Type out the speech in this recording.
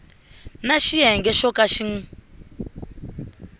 na xiyenge xo ka xi